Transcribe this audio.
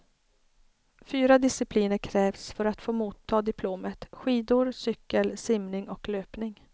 Fyra discipliner krävs för att få motta diplomet, skidor, cykel, simning och löpning.